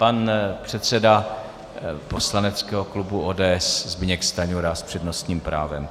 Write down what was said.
Pan předseda poslaneckého klubu ODS Zbyněk Stanjura s přednostním právem.